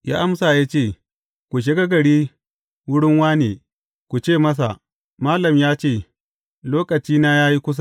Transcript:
Ya amsa ya ce, Ku shiga gari wurin wāne, ku ce masa, Malam ya ce, lokacina ya yi kusa.